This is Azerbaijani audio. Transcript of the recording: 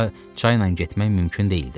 Daha çaynan getmək mümkün deyildi.